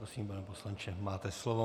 Prosím, pane poslanče, máte slovo.